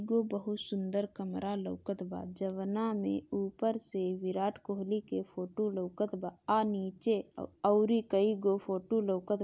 उ बहुत सुंदर कमरा लोकत बा जउना मे ऊपर से विराट कोहली के फोटो लोकत बा आ नीचे और कई गो फोटो लोकत बा।